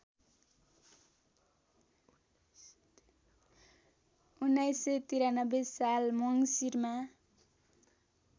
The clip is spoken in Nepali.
१९९३ साल मङ्सिरमा